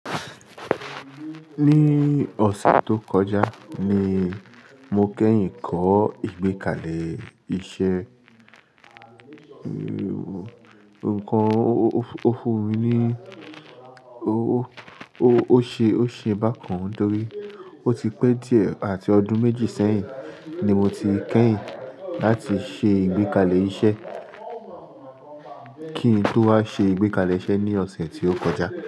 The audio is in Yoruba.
Ní ọ̀sẹ̀ tó kọjá ni mo kẹ́yìn kọ́ ìgbékalẹ̀ iṣẹ́. Nǹkan òfun mi ni ó ṣe, ó ṣe bákan dọ́rí. Ó ti pẹ́ díẹ̀ àti ọdún méjì sẹ́yìn ni mo ti kẹ́yìn láti ṣe ìgbékalẹ̀ iṣẹ́ kí n tó wá ṣe ìgbékalẹ̀ iṣẹ́ ní ọ̀sẹ̀ tí ó kọjá.